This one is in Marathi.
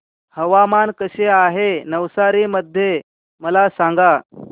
हवामान कसे आहे नवसारी मध्ये मला सांगा